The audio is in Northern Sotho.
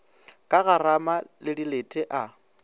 ka garama le dilete a